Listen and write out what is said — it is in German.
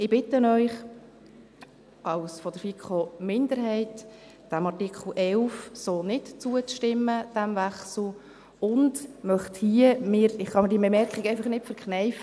Ich bitte Sie als Sprecherin der FiKo-Minderheit, dem Artikel 11 und diesem Wechsel so nicht zuzustimmen, und ich kann mir hier diese Bemerkung einfach nicht verkneifen: